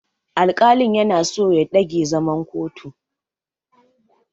Alƙalin yana so ya ɗage zaman kotun.